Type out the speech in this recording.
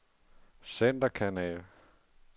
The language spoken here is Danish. centerkanal